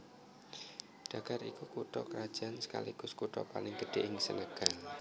Dakar iku kutha krajan sekaligus kutha paling gedhé ing Senegal